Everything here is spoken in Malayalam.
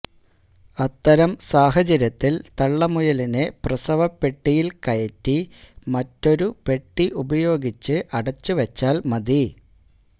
അത്തരം സാഹചര്യത്തിൽ തള്ളമുയലിനെ പ്രസവപ്പെട്ടിയിൽ കയറ്റി മറ്റൊരു പെട്ടി ഉപയോഗിച്ച് അടച്ചുവച്ചാൽ മതി